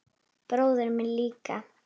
Bróðir minn líka.